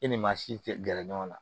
E ni maa si tɛ gɛrɛ ɲɔgɔn na